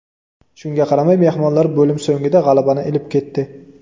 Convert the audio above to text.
Shunga qaramay mehmonlar bo‘lim so‘ngida g‘alabani ilib ketdi.